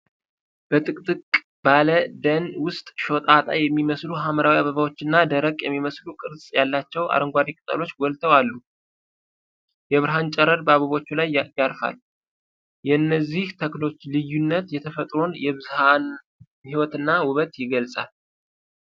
በጥቅጥቅ ባለ ደን ውስጥ፣ ሾጣጣ የሚመስሉ ሐምራዊ አበባዎችና ደረቅ የሚመስሉ፣ ቅርጽ ያላቸው አረንጓዴ ቅጠሎች ጎልተው አሉ። የብርሃን ጨረር በአበቦቹ ላይ ያርፋል። የእነዚህ ተክሎች ልዩነት የተፈጥሮን የብዝሃ ሕይወትና ውበት ይገልጻል።